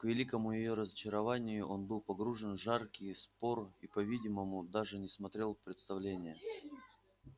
к великому её разочарованию он был погружен в жаркий спор и по-видимому даже не смотрел представления